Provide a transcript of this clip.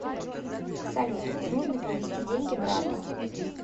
салют нужно перевести деньги брату